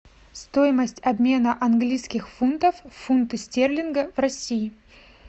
стоимость обмена английских фунтов в фунты стерлингов в россии